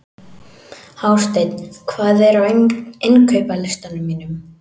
Hásteinn, hvað er á innkaupalistanum mínum?